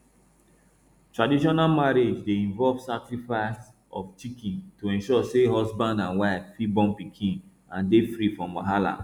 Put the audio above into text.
traditional marriage dey involve sacrifice of chicken to ensure say husband and wife fit born pikin and dey free from wahala